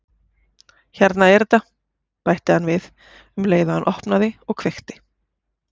Hérna er þetta- bætti hann við um leið og hann opnaði og kveikti.